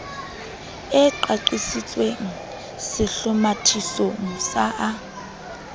e qaqisitsweng sehlomathisong sa a